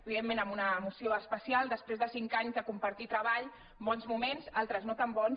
evidentment amb una emoció es·pecial després de cinc anys de compartir treball bons moments altres no tan bons